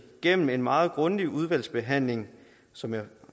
gennem en meget grundig udvalgsbehandling som jeg